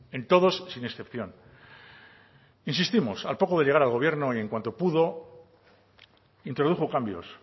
en todos sin excepción insistimos al poco de llegar al gobierno y en cuanto pudo introdujo cambios